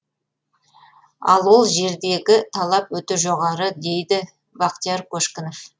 ал ол жердегі талап өте жоғары дейді бақтияр көшкінов